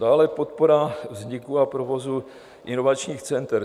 Dále podpora vzniku a provozu inovačních center.